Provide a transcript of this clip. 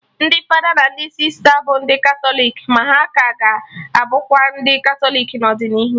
Ndị fada na ndị sista bụ ndị Katọlik, ma ha ka ga-abụkwa ndị Katọlik n'ọdịnihu